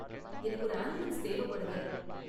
எனக்கு ஒரு ஆம்புலன்ஸ் தேவைப்படுது.